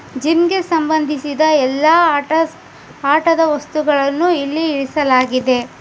Gym ಸಂಬಂಧಿಸಿದ ಎಲ್ಲಾ ಆಟ ಆಟದ ವಸ್ತುಗಳನ್ನು ಇಲ್ಲಿ ಇಳಿಸಲಾಗಿದೆ.